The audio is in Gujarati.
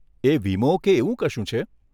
એ વીમો કે એવું કશું છે?